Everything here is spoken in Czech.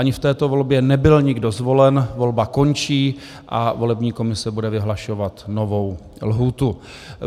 Ani v této volbě nebyl nikdo zvolen, volba končí a volební komise bude vyhlašovat novou lhůtu.